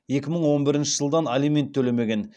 екі мың он бірінші жылдан алимент төлемеген